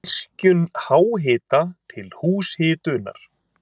Virkjun háhita til húshitunar